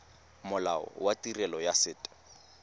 molao wa tirelo ya set